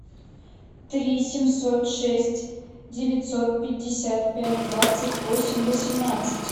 три семьсот шесть девятьсот пятьдесят пять двадцать восемь восемнадцать